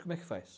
Como é que faz?